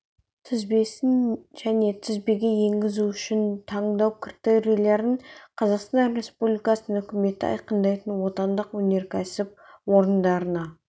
тізбесін және тізбеге енгізу үшін таңдау критерийлерін қазақстан республикасының үкіметі айқындайтын отандық өнеркәсіп орындарына